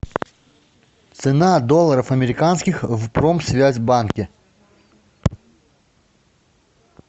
цена долларов американских в промсвязьбанке